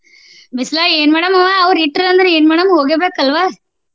ಬಿಸ್ಲಾಗ ಏನ್ ಮಾಡುಮವಾ ಅವ್ರ್ ಇಟ್ರ್ ಅಂದ್ರ ಏನ ಮಾಡಮ ಹೋಗೇಬೇಕಲ್ವಾ?